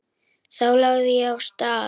Þá lagði ég af stað.